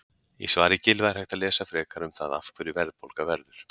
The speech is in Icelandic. Í svari Gylfa er hægt að lesa frekar um það af hverju verðbólga verður.